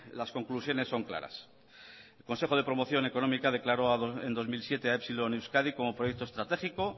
las conclusiones son claras el consejo de promoción económica declaró en dos mil siete a epsilon euskadi como proyecto estratégico